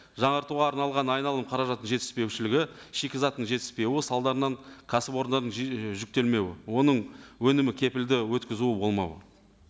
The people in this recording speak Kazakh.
жаңартуға арналған айналым қаражаттың жетіспеушілігі шикізаттың жетіспеуі салдарынан кәсіпорындардың жүктелмеуі оның өнімі кепілді өткізуі болмауы